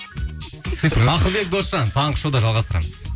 ақылбек досжан таңғы шоуда жалғастырамыз